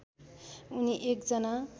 उनी एक जना